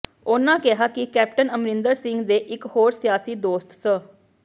ਉਨ੍ਹਾਂ ਕਿਹਾ ਕਿ ਕੈਪਟਨ ਅਮਰਿੰਦਰ ਸਿੰਘ ਦੇ ਇਕ ਹੋਰ ਸਿਆਸੀ ਦੋਸਤ ਸ